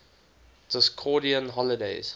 discordian holidays